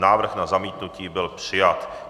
Návrh na zamítnutí byl přijat.